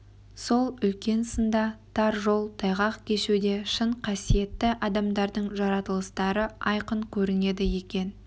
сол үлкен сында тар жол тайғақ кешуде шын қасиетті адамдардың жаратылыстары айқын көрінеді екен